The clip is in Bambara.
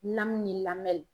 ni